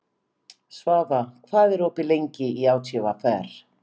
Svafa, hvað er opið lengi í ÁTVR?